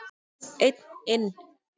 Einn inn.